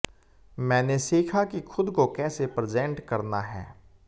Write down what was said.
मैंने सीखा कि खुद को कैसे प्रेजेंट करना है